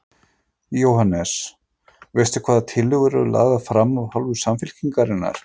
Jóhannes: Veistu hvaða tillögur eru lagðar fram af hálfu Samfylkingar?